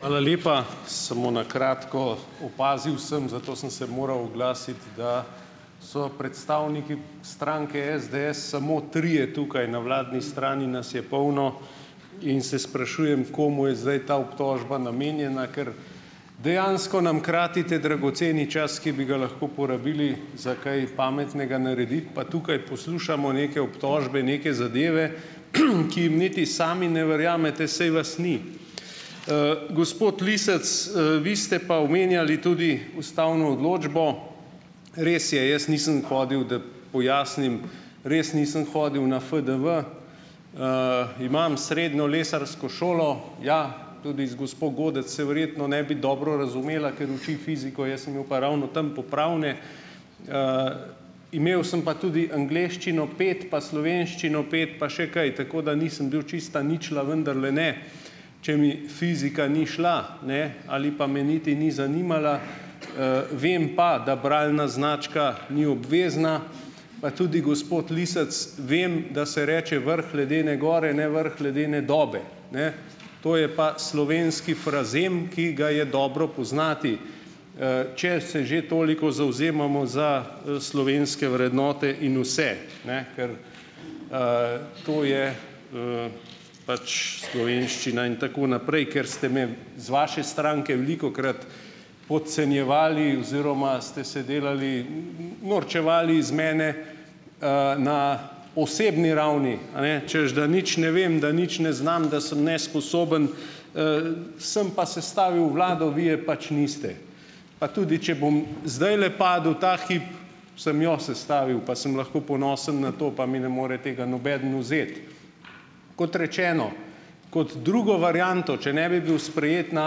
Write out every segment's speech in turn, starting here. Hvala lepa. Samo na kratko, opazil sem, zato sem se moral oglasiti, da so predstavniki stranke SDS samo trije tukaj, na vladni strani nas je polno in se sprašujem, komu je zdaj ta obtožba namenjena, ker dejansko nam kratite dragoceni čas, ki bi ga lahko porabili za kaj pametnega narediti, pa tukaj poslušamo neke obtožbe, neke zadeve, ki jim niti sami ne verjamete, saj vas ni. Gospod Lisec, vi ste pa omenjali tudi ustavno odločbo. Res je, jaz nisem hodil, da pojasnim - res nisem hodil na FDV, imam srednjo lesarsko šolo, ja, tudi z gospo Godec se verjetno ne bi dobro razumela, ker uči fiziko, jaz sem imel pa ravno tam popravne. Imel sem pa tudi angleščino pet, pa slovenščino pet, pa še kaj. Tako da nisem bil čista ničla, vendarle ne, če mi fizika ni šla, ne, ali pa me niti ni zanimala. Vem pa, da bralna značka ni obvezna, pa tudi gospod Lisec vem, da se reče vrh ledene gor, ne vrh ledene dobe, ne. To je pa slovenski frazem, ki ga je dobro poznati, če se že toliko zavzemamo za, slovenske vrednote in vse, ne, ker, to je, pač slovenščina in tako naprej, ker ste me z vaše stranke velikokrat podcenjevali oziroma ste se delali, norčevali iz mene, na osebni ravni, a ne, češ, da nič ne vem, da nič ne znam, da sem nesposoben. Sem pa sestavil vlado, vi je pač niste. Pa tudi, če bom zdajle padel ta hip, sem jo sestavil, pa sem lahko ponosen na to, pa mi ne more tega nobeden vzeti. Kot rečeno, kot drugo varianto, če ne bi bil sprejet na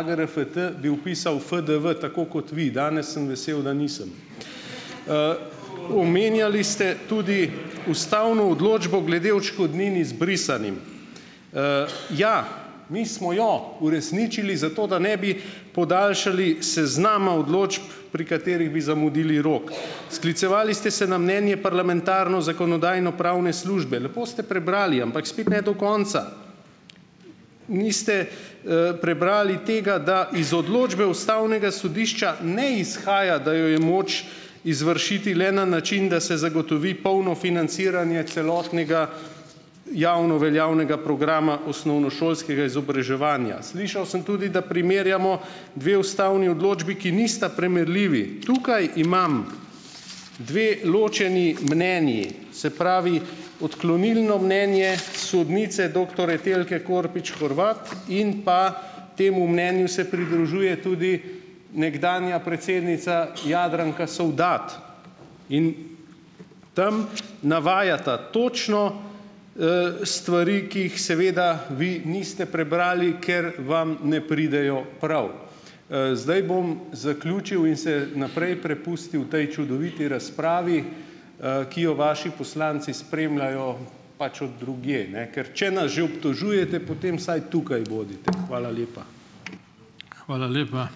AGRFT, bi vpisal FDV, tako kot vi. Danes sem vesel, da nisem. Omenjali ste tudi ustavno odločbo glede odškodnin izbrisanim. Ja, mi smo jo uresničili, zato da ne bi podaljšali seznama odločb, pri katerih bi zamudili rok. Sklicevali ste se na mnenje parlamentarne zakonodajno-pravne službe, lepo ste prebrali, ampak spet ne do konca. Niste, prebrali tega, da iz odločbe ustavnega sodišča ne izhaja, da jo je moč izvršiti le na način, da se zagotovi polno financiranje celotnega javno veljavnega programa osnovnošolskega izobraževanja. Slišal sem tudi, da primerjamo dve ustavni odločbi, ki nista primerljivi. Tukaj imam dve ločeni mnenji, se pravi odklonilno mnenje sodnice doktor Etelke Korpič-Horvat in pa temu mnenju se pridružuje tudi nekdanja predsednica Jadranka Sovdat in tam navajata točno, stvari, ki jih seveda vi niste prebrali, ker vam ne pridejo prav. Zdaj bom zaključil in se naprej prepustil potem čudoviti razpravi, ki jo vaši poslanci spremljajo pač od drugje, ne, ker če nas že obtožujete, potem vsaj tukaj bodite. Hvala lepa.